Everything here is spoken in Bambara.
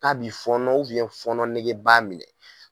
K'a bi fɔnɔ fɔnɔ nege b'a minɛ